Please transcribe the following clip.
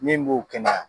Min b'o kɛnɛya